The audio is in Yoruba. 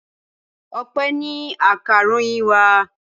Ọpẹ́ ni akaròyìn wa.